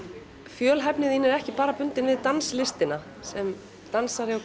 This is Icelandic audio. fjölhæfni þín er ekki bara bundin við danslistina sem dansari og